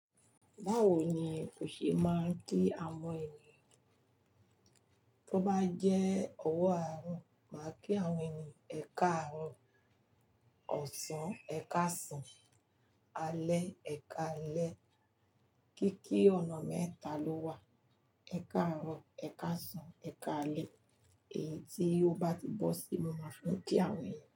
Báwo ni o ṣe máa ń kí àwọn ènìyàn? Tó bá jẹ́ ọwọ́ àárọ̀, máa kí àwọn ènìyàn. Ẹ káàrọ̀, ọ̀sán, ẹ káasán, alẹ́, ẹ káalẹ́. Kíkí ọ̀nà mẹ́ta ló wà. Ẹ̀ka àrùn, ẹ̀ka ọ̀sán, ẹ̀ka alẹ́. Èyí tí ó bá ti bọ́ síi, mo máa fín kí àwọn ènìyàn.